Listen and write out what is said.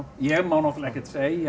ég má náttúrulega ekkert segja